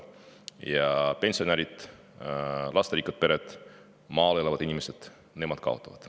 Aga pensionärid, lasterikkad pered, maal elavad inimesed – nemad kaotavad.